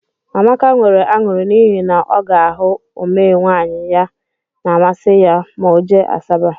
Amaka nwere añụrị n'ihi na ọ ga ahụ omee nwaanyị na amasi ya ma ọ jee Asaba.